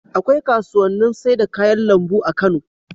Akwai kasuwannin sai da kayan lambu a Kano